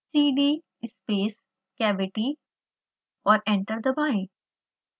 cdspace cavity और enter दबाएं